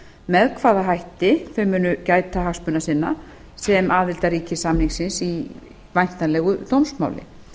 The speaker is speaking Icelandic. með hvaða hætti þau munu gæta hagsmuna sinna sem aðildarríki samningsins í væntanlegu dómsmáli